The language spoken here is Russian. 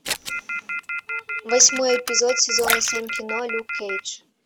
восьмой эпизод сезона семь кино люк кейдж